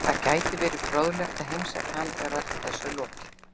Það gæti verið fróðlegt að heimsækja hann þegar öllu þessu er lokið.